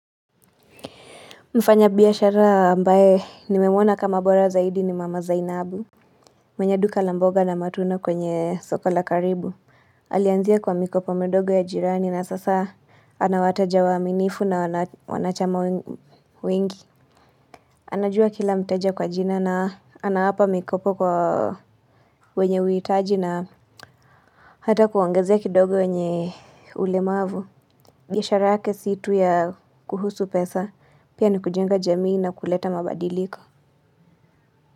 Mfanya biashara ambaye nimemona kama bora zaidi ni mama Zainabu. Mwenye duka la mboga na matunda kwenye soko la karibu. Alianzia kwa mikopo midogo ya jirani na sasa anawateja wa aminifu na wanachama wengi. Anajua kila mteja kwa jina na anawapa mikopo kwa wenye huitaji na hata kuongezia kidogo wenye ulemavu. Biashara yake situ ya kuhusu pesa. Pia ni kujenga jamii na kuleta mabadiliko.